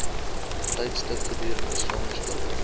tydstip gedurende swangerskap